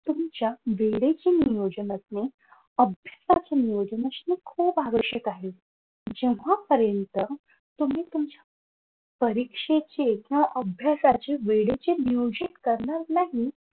तुमच्या वेळेचे नियोजन असणे अभ्यासाचे नियोजन असणे खूप आवश्यक आहे. जेव्हापर्यंत तुम्ही तुमच्या परीक्षेचे किंवा अभ्यासाचे वेळेचे नियोजन करणार नाही.